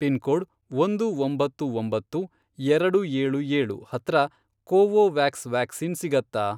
Pin code, ಒಂದು ಒಂಬತ್ತು ಒಂಬತ್ತು, ಎರಡು ಏಳು ಏಳು, ಹತ್ರ ಕೋವೋವ್ಯಾಕ್ಸ್ ವ್ಯಾಕ್ಸಿನ್ ಸಿಗತ್ತಾ?